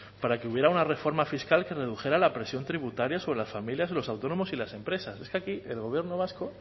para que hubiera una reforma fiscal que redujera la presión tributaria sobre las familias y los autónomos y las empresas es que aquí el gobierno vasco